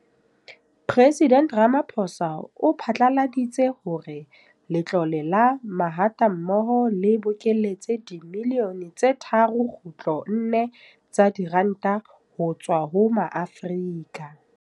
Mopresidente Ramaphosa o phatlaladitse hore Letlole la Mahatammoho le bokeletse dibilione tse 3.4 tsa diranta ho tswa ho Maafrika.